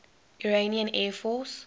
iranian air force